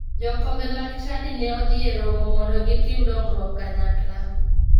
Jokombe mag chadi ne odhi e romo mondo gitim dongruok kanyakla.